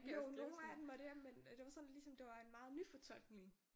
Jo nogen af dem var det men det var sådan ligesom det var en meget nyfortolkning